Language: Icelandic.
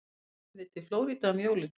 Förum við til Flórída um jólin?